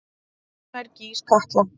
Hvenær gýs Katla?